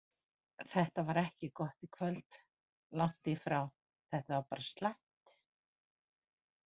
Þetta var ekki gott í kvöld, langt í frá, þetta var bara slæmt.